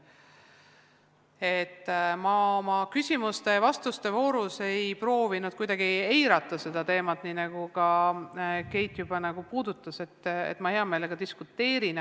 Ma ei proovinud oma küsimustes-vastustes kuidagi seda teemat eirata, nii nagu Keit juba puudutas, vaid hea meelega diskuteerin.